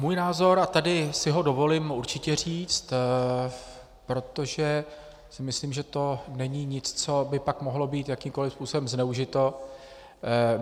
Můj názor, a tady si ho dovolím určitě říct, protože si myslím, že to není nic, co by pak mohlo být jakýmkoliv způsobem zneužito.